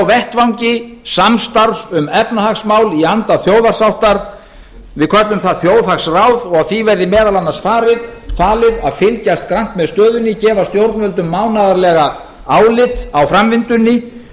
vettvangi samstarfs um efnahagsmál í anda þjóðarsáttar við köllum það þjóðhagsráð og því verði meðal annars falið að fylgjast grannt með stöðunni gefa stjórnvöldum mánaðarlega álit á framvindunni